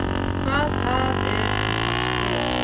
Hvað það er að fást við.